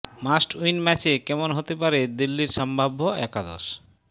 must win ম্যাচে কেমন হতে পারে দিল্লির সম্ভাব্য একাদশ